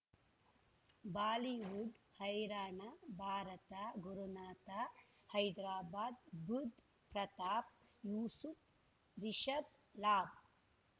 Bollywood ಹೈರಾಣ ಭಾರತ ಗುರುನಾಥ ಹೈದರಾಬಾದ್ ಬುಧ್ ಪ್ರತಾಪ್ ಯೂಸುಫ್ ರಿಷಬ್ ಲಾಬ್